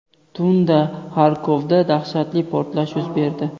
Tunda Xarkovda dahshatli portlash yuz berdi.